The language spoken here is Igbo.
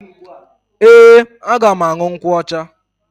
Ee, aga m aṅụ nkwụ ọcha.